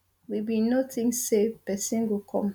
we bin no think say pesin go come